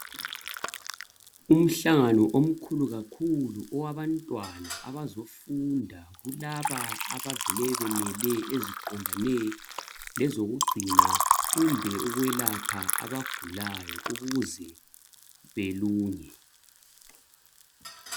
Umhlangano omkhulu kakhulu owabantwana abazofunda kulaba abavele bemele eziqondane lezokugcina kumbe ukwelapha abagulayo ukuze belunge.